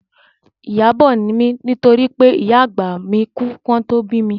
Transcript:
Ìyábọ̀ ni mí nítorí pé ìyá àgbà mi kú kí wọn tó bí mi